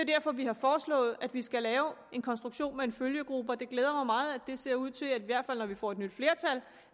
derfor vi har foreslået at vi skal lave en konstruktion med en følgegruppe og det glæder mig meget at det ser ud til i hvert fald når vi får et nyt flertal